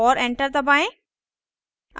और enter दबाएं